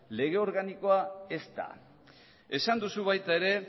lege organikoa ez da esan duzu baita ere